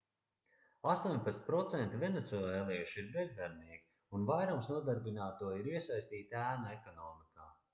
18% venecuēliešu ir bezdarbnieki un vairums nodarbināto ir iesaistīti ēnu ekonomikā